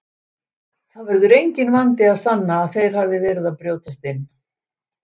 Það verður enginn vandi að sanna að þeir hafi verið að brjótast inn.